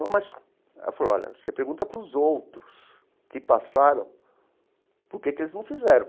Mas ela falou, olha, você pergunta para os outros que passaram, por que que eles não fizeram?